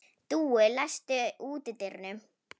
Dúi, læstu útidyrunum.